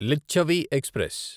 Lichchavi express